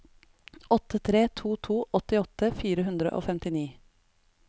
åtte tre to to åttiåtte fire hundre og femtini